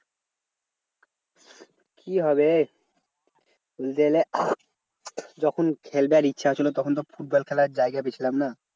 কি হবে? যখন খেলবার ইচ্ছা হয়েছিল, তখন তো ফুটবল খেলার জায়গাতেই ছিলাম না।